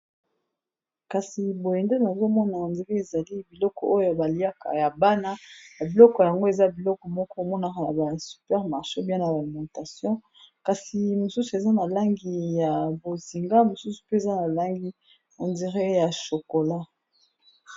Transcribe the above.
Kasi boye ndenge nazomona eza neti ezali biloko oyo baliaka ya bana, ba biloko yango eza biloko moko omonaka na ba supermarche to na ba alimentation, kasi misusu eza na langi ya bozinga, misusu mpe eza na langi neti ya shokola.